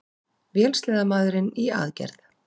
Vélsleðamaðurinn í aðgerð